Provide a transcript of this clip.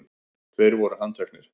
Tveir voru handtekni